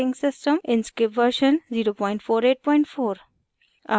* inkscape version 0484